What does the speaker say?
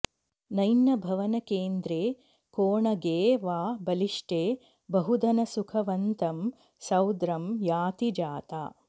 नय्नभवनकेन्द्रे कोणगे वा बलिष्टे बहुधनसुखवन्तं सोद्रं याति जाता